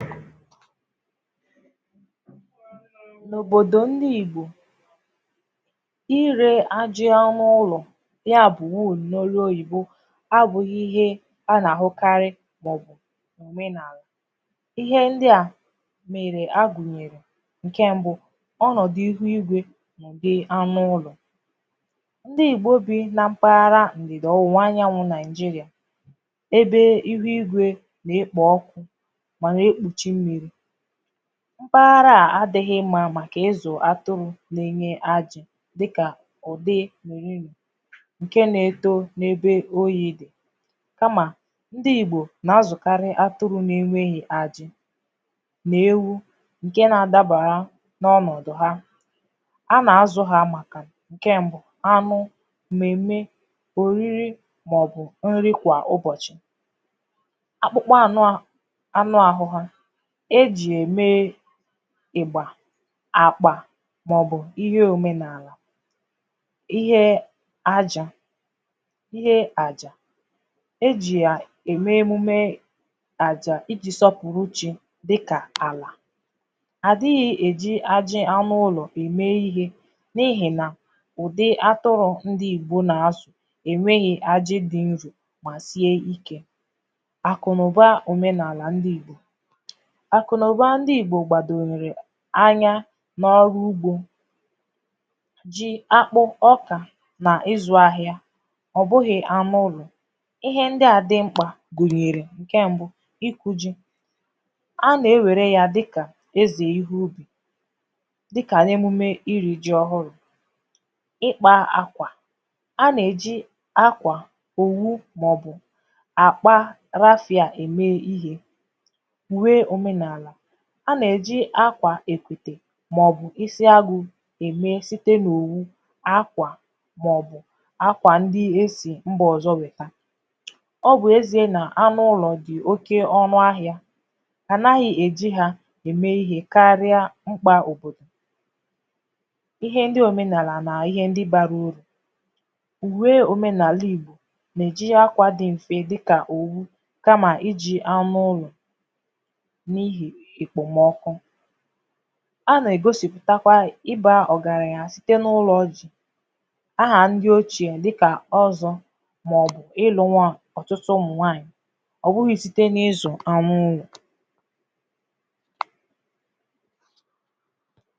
N’òbodò ndị Igbò ire ajà n’ụlọ̀ ya bụ̀ wool n’olù oyibo abụghị̀ ihe a na-ahụkarị̀ maọ̀bụ̀ omenaalà ihe ndị à mere agunyere nke mbụ̀ ọnọdụ̀ ihe igwe dị anụ̀ ụlọ̀ ndị Igbò bi na mpaghara ndịdị ọwụwà anyanwụ̀ Naijirià ebe ihu igwe na-ekpo ọkụ ma na-ekpuchi mmiri mpaghara à adighị̀ mma makà ịzụ̀ atụrụ na-enye ajì dịkà ụdị mirim nke na-eto n’ebe oyii kamà ndị Igbò na-azụkarị̀ atụrụ na-enweghì ajì ma ewu nke na-adabarà n’ọnọdụ̀ ha a na-azụ ha makà nke mbụ̀ anụ mmeme oriri maọ̀bụ̀ nrì kwà ụbọchị̀ akpụkpa anụ ahụ anụ ahụ ha e ji ya emee ịgbà àkpà maọ̀bụ̀ ihe omenaalà ihee ajị̀ ihe àjà e ji yaa eme emumee àjà iji sọpụrụ chi dịkà alà adighị̀ e ji ajị̀ anụ ụlọ̀ eme ihe n’ihe nà ụdị atụrụ ndị Igbò na-azụ̀ enweghi ajị̀ dị mvu ma sie ike akụ na ụbà omenaalà ndị Igbò akụ na ụbà ndị Igbo gbadonyere anya n’ọrụ ugbò ji, akpụ̀ ọkà n’ịzụ ahịà ọ bụghị̀ anụ ụlọ̀ ihe ndị a dị m̄kpà gunyerè nke mbụ̀ ịkụ̀ ji a na-ewere yà dịkà ezè ihu dịkà na-emume iri ji ọhụrụ ịkpà akwà a na-eji akwà owu maọ̀bụ̀ akpaa rasịà eme ihe uwe omenaalà a na-eji akwà èkwetè maọ̀bụ̀ isi agụ eme sitē n’owu akwà maọ̀bụ̀ akwà ndị e si mbà ọzọ̀ wetà ọ bụ̀ ezie na anụ ụlọ̀ dị oke ọnụ ahịà a naghị̀ eji ha eme ihe karịa m̄kpà ọ̀bodò ihe ndị omenaalà na ihe ndị barà uru uwe omenaalà Igbò na-eji akwà dị mfe dịkà oghù kamà iji anụ̀ ụlọ̀ n’ihì ekpomo ọkụ a na-egosipụ takwà yà ịba ọgaranya sị dị n’ụlọ ọ dị̀ aha ndị oche dịkà ọzọ maọ̀bụ̀ ịlụ̀ nwa ọtụtụ ụmụ nwaanyị̀ ọ bụghị̀ sitē n’ịzụ̀ anụ̀ ụlọ̀